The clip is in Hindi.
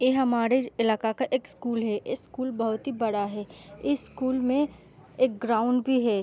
ये हमारे इलाका का एक स्कूल है ये स्कूल बहुत ही बड़ा है इस स्कूल में एक ग्राउंड भी है।